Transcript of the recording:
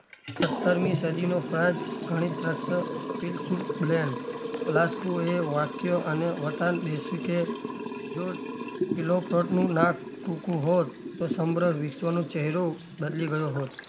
સત્તરમી સદીનો france ગણિતરત્ન ફિલસુલ બ્લેન લાસ્કુએ વાક્ય અને વતન બેસ્યું કે જો કીલોફ્લોટ નું નાક ટુકું હોત તો સમગ્ર વિશ્વનો ચહેરો બદલી ગયો હોત.